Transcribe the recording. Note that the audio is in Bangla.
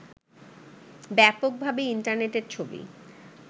ব্যাপকভাবে ইন্টারনেটের ছবি